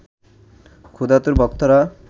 ক্ষুধাতুর ভক্তরা